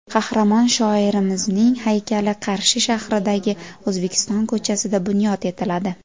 Qahramon shoirimizning haykali Qarshi shahridagi O‘zbekiston ko‘chasida bunyod etiladi.